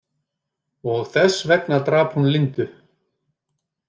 Og þess vegna drap hún Lindu?